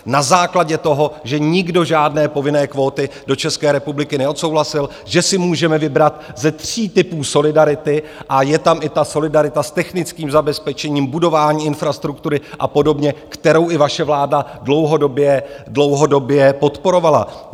Na základě toho, že nikdo žádné povinné kvóty do České republiky neodsouhlasil, že si můžeme vybrat ze tří typů solidarity, a je tam i ta solidarita s technickým zabezpečením, budování infrastruktury a podobně, kterou i vaše vláda dlouhodobě podporovala.